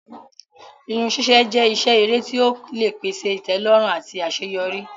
Irun sise jẹ́ iṣẹ́ èrè tí ó lè pèsè ìtẹ́lọ́rùn àti àṣeyọrí.